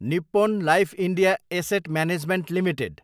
Nippon Life India Asset Management Ltd